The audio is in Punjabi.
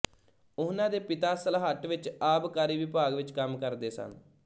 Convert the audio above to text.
ਉਹਨਾਂ ਦੇ ਪਿਤਾ ਸਲਹੱਟ ਵਿੱਚ ਆਬਕਾਰੀ ਵਿਭਾਗ ਵਿੱਚ ਕੰਮ ਕਰਦੇ ਸਨ